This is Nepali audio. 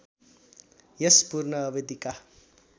यस पूर्ण अवधिका